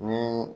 Ni